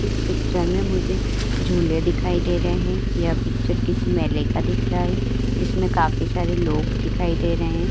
इस पिक्चर में मुझे झूले दिखाई दे रहे हैं। यह पिक्चर किसी मेले का दिख रहा हैं। इसमें काफी सारे लोग दिखाई दे रहे हैं।